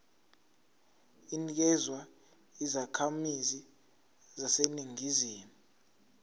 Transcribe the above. inikezwa izakhamizi zaseningizimu